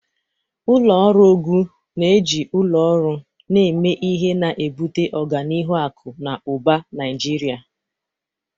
Ụlọ ọrụ Ogun na-eji ụlọ ọrụ na-eme ihe, na-ebute ọganihu akụ na ụba Naijiria.